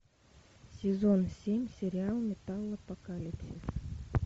сезон семь сериал металлопокалипсис